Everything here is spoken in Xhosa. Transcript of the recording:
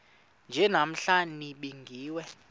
nje namhla nibingiwe